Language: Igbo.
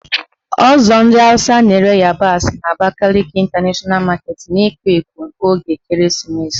Ọzọ ndị Awụsa na-ere ịyabasị n' Abakaliki Ịntanashọna Maketi na-ekwo ekwo oge ekereesimesi